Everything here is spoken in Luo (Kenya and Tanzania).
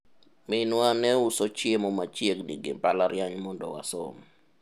minwa ne uso chiemo machiegni gi mbalariany mondo wasom